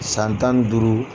San tani duuru